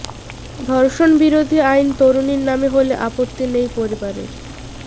ধর্ষণ বিরোধী আইন তরুণীর নামে হলে আপত্তি নেই পরিবারের